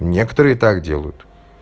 некоторые так делают